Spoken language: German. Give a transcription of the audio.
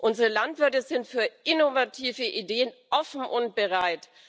Unsere Landwirte sind für innovative Ideen offen und bereit.